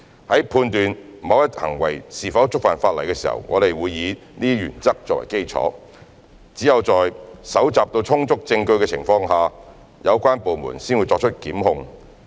在判斷某一行為是否觸犯法例時，我們會以這些原則作基礎，只有在搜集到充足證據的情況下，有關部門才會作出檢控。